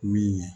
Min ye